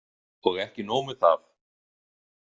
Og ekki nóg með það.